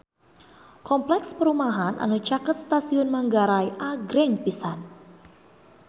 Kompleks perumahan anu caket Stasiun Manggarai agreng pisan